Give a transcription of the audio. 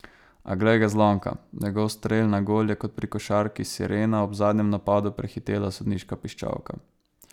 A, glej ga, zlomka, njegov strel na gol je kot pri košarki sirena ob zadnjem napadu prehitela sodniška piščalka.